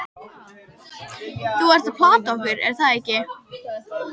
Þú ert að plata okkur, er það ekki?